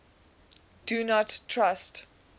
do not trust